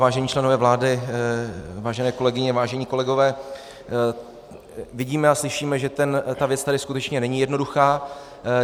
Vážení členové vlády, vážené kolegyně, vážení kolegové, vidíme a slyšíme, že ta věc tady skutečně není jednoduchá.